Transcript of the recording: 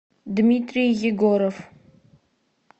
дмитрий егоров